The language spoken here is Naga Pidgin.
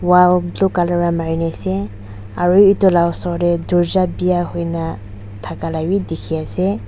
wall blue colour ra mari ne ase aru etu la oser te dorja bia hoi ne thaka la bi dikhi ase.